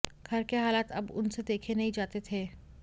घर के हालात अब उनसे देखे नहीं जाते थे